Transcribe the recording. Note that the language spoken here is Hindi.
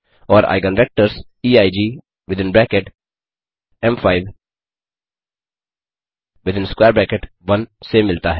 और eigen vectors EIG within bracket M five within square bracket 1 से मिलता है